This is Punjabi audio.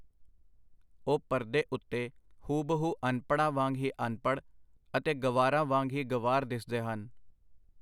ਉਹ ਪਰਦੇ ਉਤੇ ਹੂਬਹੂ ਅਨਪੜ੍ਹਾਂ ਵਾਂਗ ਹੀ ਅਨਪੜ੍ਹ ਅਤੇ ਗੰਵਾਰਾਂ ਵਾਂਗ ਹੀ ਗੰਵਾਰ ਦਿਸਦੇ ਹਨ.